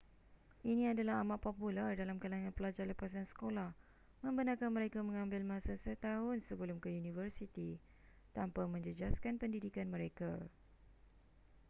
ini adalah amat popular dalam kalangan pelajar lepasan sekolah membenarkan mereka mengambil masa setahun sebelum ke universiti tanpa menjejaskan pendidikan mereka